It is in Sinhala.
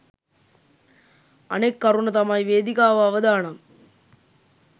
අනෙක් කරුණ තමයි වේදිකාව අවදානම්